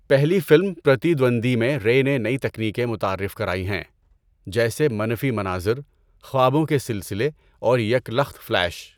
پہلی فلم، پرتیدوَندی میں، رے نے نئی تکنیکیں متعارف کرائی ہیں جیسے منفی مناظر، خوابوں کے سلسلے اور یک لخت فلیش۔